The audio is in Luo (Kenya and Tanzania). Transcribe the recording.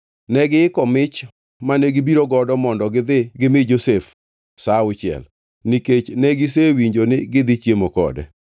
Negiiko mich mane gibiro godo mondo gi dhi gimi Josef sa auchiel, nikech negisewinjo ni gidhi chiemo kode.